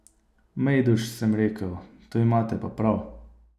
Mejduš, sem rekel, to imate pa prav.